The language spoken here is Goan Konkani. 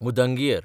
मुदंगियर